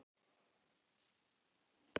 Er öldurnar að lægja í kringum félagið?